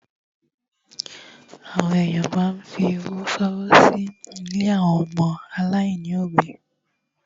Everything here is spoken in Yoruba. Àwọn èyàn máa ń fi owó ṣọwọ́ sí ilé àwọn ọmọ aláìní òbí.